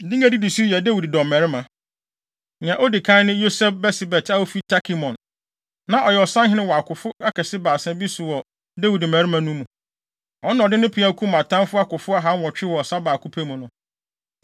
Din a edidi so yi yɛ Dawid dɔmmarima: Nea odi kan ne Yoseb-Basebet a ofi Tahkemon, na ɔyɛ ɔsahene wɔ akofo akɛse Baasa bi so wɔ Dawid mmarima no mu. Ɔno na ɔde ne peaw kum atamfo akofo ahanwɔtwe wɔ ɔsa baako pɛ mu no.